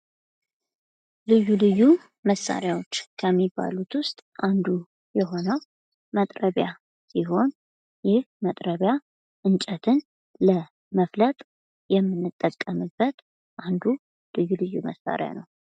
ልዩ ልዩ መሳሪያዎች ከሚባሉት ዉስጥ አንዱ የሆነዉ መጥረቢያ ሲሆን ይህ መጥረቢያ እንጨትን ለመፍለጥ የምንጠቀምበት አንዱ ልዩ ልዩ መሳሪያ ነዉ።